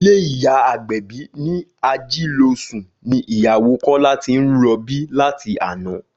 Ilé ìyá Agbẹ̀bí ní Ajílósùn ni ìyàwó Kọ́lá ti ń rọbí láti àná